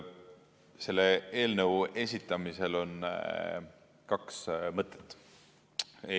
Selle eelnõu esitamisel on kaks mõtet.